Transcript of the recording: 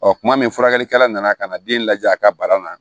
Ɔ kuma min furakɛlikɛla nana ka na den lajɛ a ka bara la